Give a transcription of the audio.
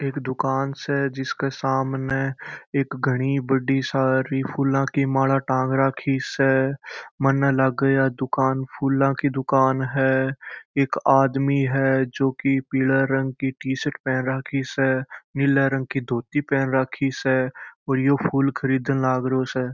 एक दुकान स जिसके समने एक घनी बड़ी सारी फूलो की माला टांग रखी स माने लगे की दुकान है एक आदमी है जो की पिले रंग की टीसर्ट पहन राखी स और नील रंग की धोती पहन राखी स और ये फूल खरीद लगे स।